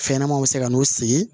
Fɛnɲɛnɛmaw bɛ se ka n'u sigi